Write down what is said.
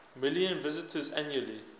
million visitors annually